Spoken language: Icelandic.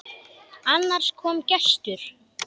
Annars kom gestur.